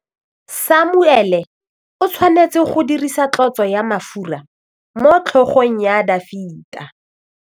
Samuele o tshwanetse go dirisa tlotsô ya mafura motlhôgong ya Dafita.